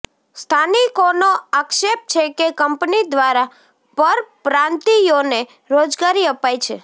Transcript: સ્થાનિકોનો આક્ષેપ છે કે કંપની દ્વારા પરપ્રાંતિયોને રોજગારી અપાય છે